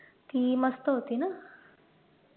ती मस्त होती ना